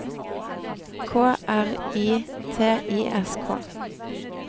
K R I T I S K